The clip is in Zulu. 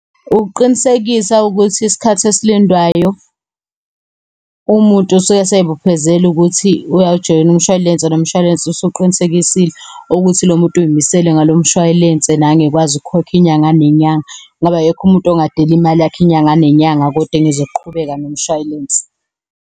Ukuqinisekisa ukuthi isikhathi esilindwayo umuntu usuke eseyibophezele ukuthi uyawujoyina umshwalense nomshwalense usuqinisekisile ukuthi lo muntu uyimisele ngalo mshwalense. Nangu ekwazi ukukhokha inyanga nenyanga ngoba akekho umuntu ogadela imali yakhe inyanga nenyanga kodwa engezoqhubeka nomshwalense.